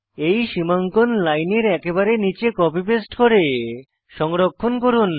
এই সীমাঙ্কন লাইনের একেবারে নীচে কপি পেস্ট করে সংরক্ষণ করুন